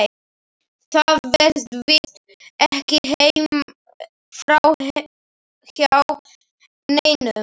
Það fer víst ekki framhjá neinum.